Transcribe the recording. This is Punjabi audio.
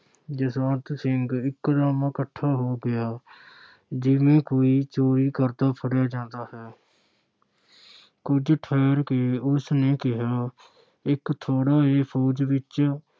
ਜਸਵੰਤ ਸਿੰਘ ਇਕਦਮ 'ਕੱਠਾ ਹੋ ਗਿਆ ਜਿਵੇਂ ਕੋਈ ਚੋਰੀ ਕਰਦਾ ਫੜਿਆ ਜਾਂਦਾ ਹੈ ਕੁਝ ਠਹਿਰ ਕੇ ਉਸ ਨੇ ਕਿਹਾ ਇੱਕ ਥੋੜ੍ਹਾ ਏ ਫ਼ੌਜ ਵਿੱਚ।